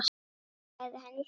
sagði hann í símann.